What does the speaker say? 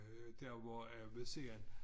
Øh der hvor af ved siden